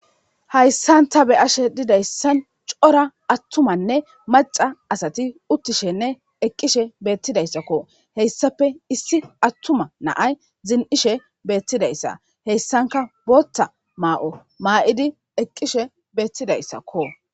Hayssanta be ashe didayssan cora attumanne maca asati uttishenne eqqishe beettidayssakko heyssape issi attuma naay zin'ishe beettidayssa heyssanka bootta maa'o maa'idi eqqishe beettidayssakko.